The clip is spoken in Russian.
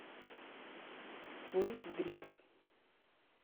твой взгляд